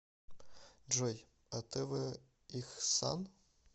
джой а тэ вэ ихсан